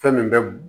Fɛn min bɛ b